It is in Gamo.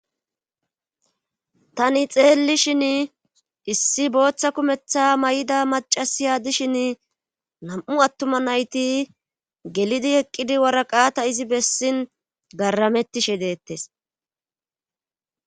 Tani xeelli shin issi booththa kumeththa may7ida macasiya dishin nam7u attuma nayti gelidi eqqidi waraqata izi bessin garamettishe deettes